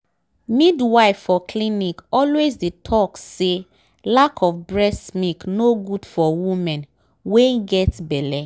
midwife for clinic always dey talk say lack of breast milk nor good for women wen get belle